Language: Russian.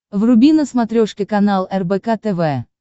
вруби на смотрешке канал рбк тв